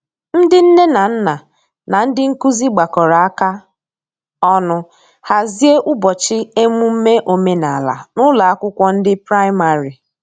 ndi nne na nna na ndi nkụzi gbakọrọ aka ọnụ hazie ubochi emume omenala n'ụlọ akwụkwo ndi praịmarị